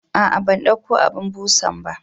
ah ah bandauko abun busanba